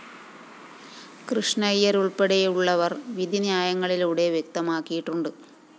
കൃഷ്ണയ്യരുള്‍പ്പെടെയുള്ളവര്‍ വിധി ന്യായങ്ങളിലൂടെ വ്യക്തമാക്കിയിട്ടുണ്ട്